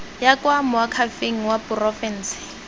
ya kwa moakhaefeng wa porofense